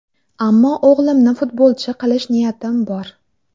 Ammo o‘g‘limni futbolchi qilish niyatim bor.